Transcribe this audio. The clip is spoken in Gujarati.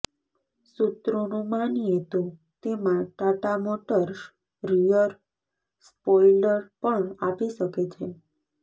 સૂત્રોનું માનીએ તો તેમાં ટાટા મોટર્સ રિયર સ્પોઈલર પણ આપી શકે છે